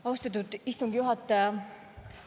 Austatud istungi juhataja!